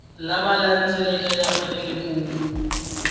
lama landzelaka ya fanele ku